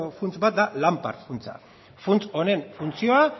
funts bat da lanpar funtsa funts honen funtzioa